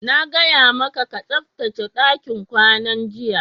Na gaya maka ka tsaftace dakin kwanan, jiya!